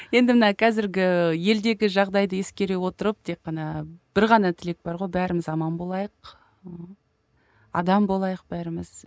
енді мына қазірге елдегі жағдайды ескере отырып тек қана бір ғана тілек бар ғой бәріміз аман болайық ыыы адам болайық бәріміз